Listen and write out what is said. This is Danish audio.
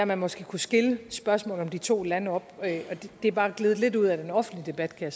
man måske kunne skille de to lande og det er bare gledet lidt ud af den offentlige debat kan